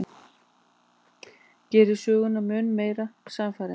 Gerir söguna mun meira sannfærandi.